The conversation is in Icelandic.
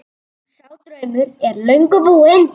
Sá draumur er löngu búinn.